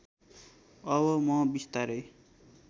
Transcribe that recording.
अब म बिस्तारै